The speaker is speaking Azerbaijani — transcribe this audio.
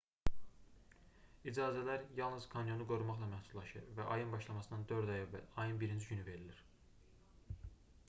i̇cazələr yalnız kanyonu qorumaqla məhdudlaşır və ayın başlamasından dörd ay əvvəl ayın 1-ci günü verilir